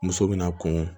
Muso bɛna kɔn